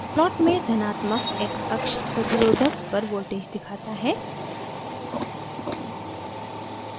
plot में धनात्मक xअक्ष प्रतिरोधक पर voltage दिखाता है